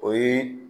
O ye